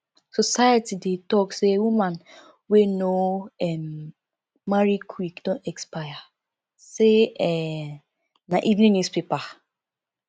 society dey talk say woman wey no um marry quick don expire sey um na evening newspaper